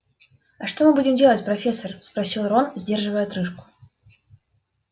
а что мы будем делать профессор спросил рон сдерживая отрыжку